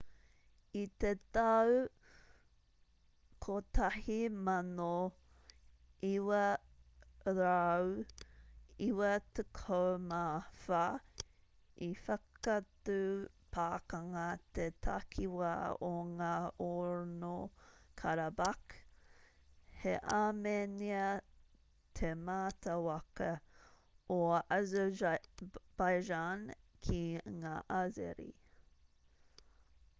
i te tau 1994 i whakatū pakanga te takiwā o ngaorno-karabakh he āmenia te mātāwaka o azerbaijan ki ngā azeri